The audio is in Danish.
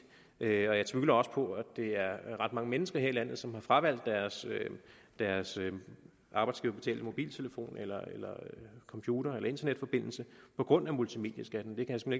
jeg tvivler også på at det er ret mange mennesker her i landet som har fravalgt deres deres arbejdsgiverbetalte mobiltelefon computer eller internetforbindelse på grund af multimedieskatten det kan